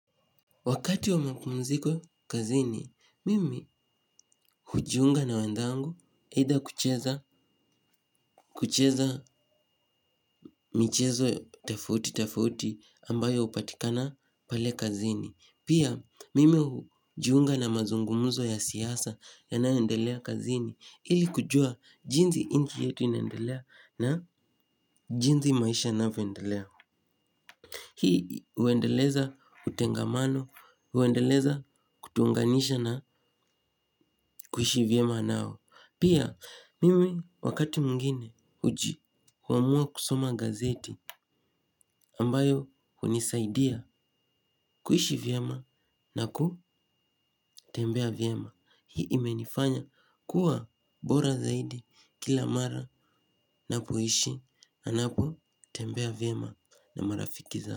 Wakati wa mapumziko kazini, mimi hujiunga na wenzangu either kucheza mchezo tofauti tofauti ambayo hupatikana pale kazini. Pia mimi hujiunga na mazungumzo ya siasa yayoendelea kazini ili kujua jinsi nchi yetu inaendelea na jinsi maisha yanavyoendelea. Hii huendeleza utengamano, huendeleza kutuunganisha na kuishi vyema nao. Pia mimi wakati mwingine huamua kusoma gazeti ambayo hunisaidia kuishi vyema na kutembea vyema. Hii imenifanya kuwa bora zaidi kila mara na kuishi na napo tembea vyema na marafiki za.